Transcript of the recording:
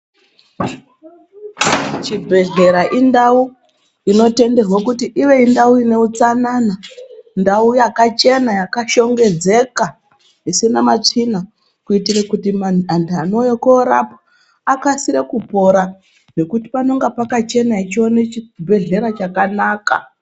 Chibhedhleya indau inotenderwa kuti ive ndau ine utsanana, ndau yakachena yakashongedzeka isina matsvina kuitire kuti antu anouye korapwa akasire kupona ngekuti panenge pakachena echione chibhedhleya chakanaka.